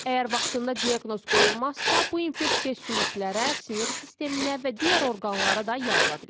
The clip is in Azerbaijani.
Əgər vaxtında diaqnoz qoyulmazsa, bu infeksiya sümüklərə, sinir sisteminə və digər orqanlara da yayıla bilər.